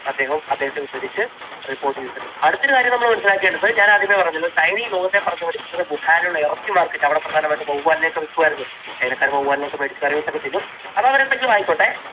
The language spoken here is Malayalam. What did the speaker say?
അദ്ദേഹം~അദ്ദേഹത്തെ ഉദ്ധരിച്ച് report ചെയ്തിട്ടുണ്ട്. അടുത്ത ഒരു കാര്യം നമ്മൾ മനസ്സിലാക്കേണ്ടത് ഞാൻ ആദ്യമേ പറഞ്ഞല്ലോ ചൈന ഈ ലോകത്തെ പറഞ്ഞു പഠിപ്പിച്ചത് വുഹാനിലുള്ള ഇറച്ചി market അവിടെ പ്രധാനമായിട്ടും വവ്വാലിനെ ഒക്കെ വിൽക്കുമായിരുന്നു, ചൈനക്കാർ വവ്വാലിനെ ഒക്കെ മേടിച്ചു കറിവെച്ച് ഒക്കെ തിന്നും. അത് അവർ എന്തെങ്കിലുമൊക്കെ ആയിക്കോട്ടെ